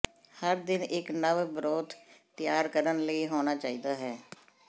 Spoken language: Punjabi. ਹਰ ਦਿਨ ਇੱਕ ਨਵ ਬਰੋਥ ਤਿਆਰ ਕਰਨ ਲਈ ਹੋਣਾ ਚਾਹੀਦਾ ਹੈ